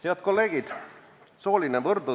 Head kolleegid!